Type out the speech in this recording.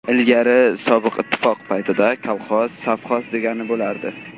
Ilgari sobiq ittifoq paytida kolxoz, sovxoz degani bo‘lardi.